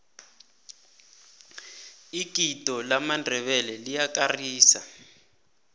igido lamandebele liyakarisa